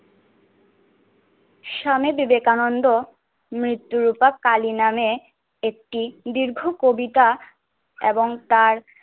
স্বামী বিবেকানন্দ মৃত্যুরূপা কালী নামে একটি দীর্ঘ কবিতা এবং তার